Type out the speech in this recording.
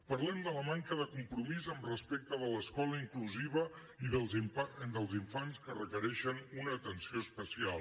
parlem de la manca de compromís respecte de l’escola inclusiva i dels infants que requereixen una atenció especial